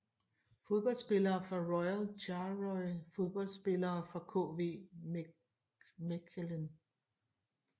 Fodboldspillere fra Royal Charleroi Fodboldspillere fra KV Mechelen